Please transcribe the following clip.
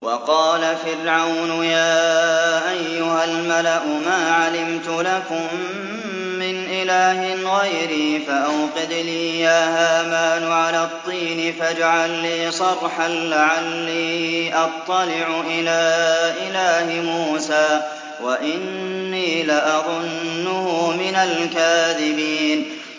وَقَالَ فِرْعَوْنُ يَا أَيُّهَا الْمَلَأُ مَا عَلِمْتُ لَكُم مِّنْ إِلَٰهٍ غَيْرِي فَأَوْقِدْ لِي يَا هَامَانُ عَلَى الطِّينِ فَاجْعَل لِّي صَرْحًا لَّعَلِّي أَطَّلِعُ إِلَىٰ إِلَٰهِ مُوسَىٰ وَإِنِّي لَأَظُنُّهُ مِنَ الْكَاذِبِينَ